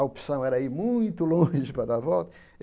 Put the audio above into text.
A opção era ir muito longe para dar a volta.